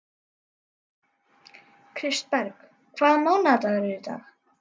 Kristberg, hvaða mánaðardagur er í dag?